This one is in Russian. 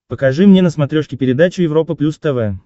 покажи мне на смотрешке передачу европа плюс тв